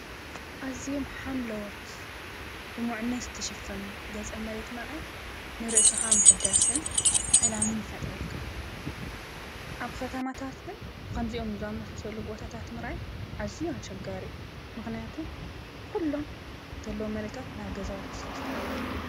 ኣዝዮም ሓምለዎት ልሙዕነት ዝተሸፈኑ ገፀመሬት ምርኣይ ንርእስካ ምሕዳስን ሰላምን ይፈጥረልኻ። ኣብ ከተማታት ግን ኸምዚኦምን ዝኣመሳሰሉን ቦታታት ምርኣይ ኣዝዩ ኣቸጋሪ እዩ። ምክንያቱ ኩሎም ዘለው መሬታት ናብ ገዛውቲ ስለዝተቀየሩ።